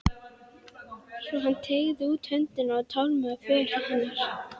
Svo hann teygði út höndina og tálmaði för hennar.